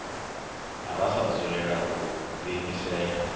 ra sa dzulela u diimisela